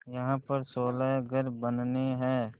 यहाँ पर सोलह घर बनने हैं